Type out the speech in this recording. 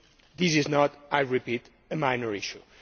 This is not, I repeat, a minor issue.